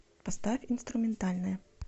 поставь инструментальная